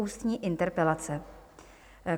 Ústní interpelace